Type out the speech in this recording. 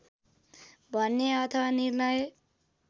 भने अथवा निर्णय